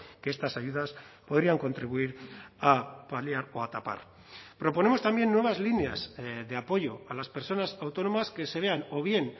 que estas ayudas podrían contribuir a paliar o a tapar proponemos también nuevas líneas de apoyo a las personas autónomas que se vean o bien